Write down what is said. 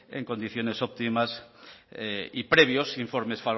en condiciones óptimas y previos informes